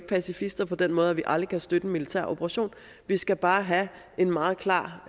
pacifister på den måde at vi aldrig kan støtte en militæroperation vi skal bare have en meget klar